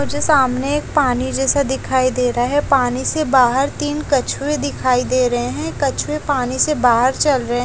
मुझे सामने एक पानी जैसा दिखाई दे रहा है पानी से बाहर तीन कछुए दिखाई दे रहे हैं कछुए पानी से बाहर चल रहे--